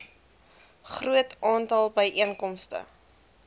groot aantal byeenkomste